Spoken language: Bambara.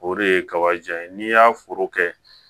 O de ye kaba jan ye n'i y'a foro kɛ